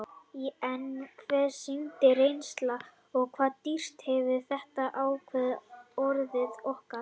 En hvað sýndi reynslan og hvað dýrt hefur þetta ævintýri orðið okkur?